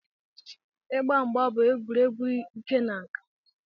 Ịgba mgba bụ egwuregwu ike na nka.